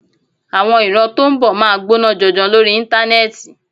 Àwọn ìran tó ń bọ̀ máa gbóná janjan lórí Íńtánẹ́ẹ̀tì.